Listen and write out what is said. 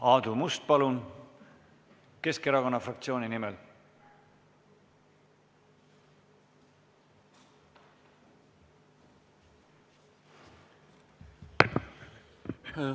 Aadu Must, palun, Keskerakonna fraktsiooni nimel!